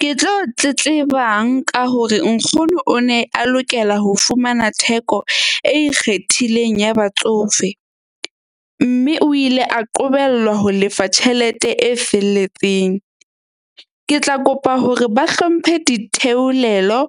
Ke tlo tletlebang ka hore nkgono o ne a lokela ho fumana theko e ikgethileng ya batsofe. Mme o ile a qobellwa ho lefa tjhelete e felletseng. Ke tla kopa hore ba hlomphe ditheolelo